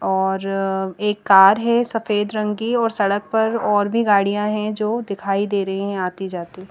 और एक कार है सफेद रंग की और सडक पर और भी गाडिया है जो दिखाई दे रही है आती जाती--